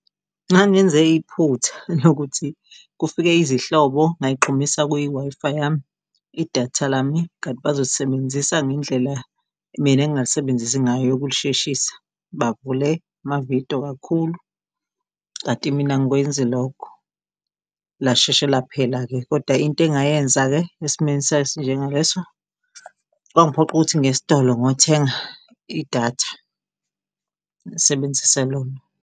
Ngangenze iphutha lokuthi kufike izihlobo ngay'xhumisa kwi-Wi-Fi yami idatha lami. Kanti bazolisebenzisa ngendlela mina engingalisebenzisi ngayo yokulisheshisa, bavule amavidiyo kakhulu. Kanti mina angikwenzi lokho lashesha laphela-ke koda into engayenza-ke esimweni sayo esinjengaleso, kwangiphoqa ukuthi ngiyestolo ngiyothenga idatha, ngasebenzise lona.